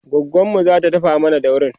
goggonmu zata dafa mana daurin